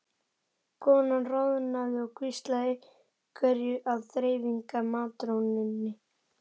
Konan roðnaði og hvíslaði einhverju að þreifingar- matrónunni.